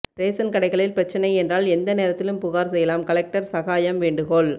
ரேசன்கடைகளில் பிரச்சினை என்றால் எந்த நேரத்திலும் புகார் செய்யலாம் கலெக்டர் சகாயம் வேண்டுகோள்